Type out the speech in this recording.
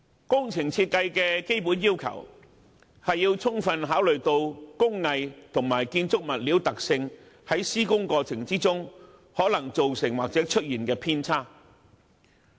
工程設計的基本要求，是要充分考慮工藝及建築物料的特性，在施工過程中有可能造成或出現的偏差。